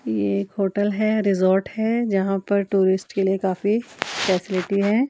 ये एक होटल है रिजॉर्ट है जहां पर टूरिस्ट के लिए काफी फैसिलिटी है।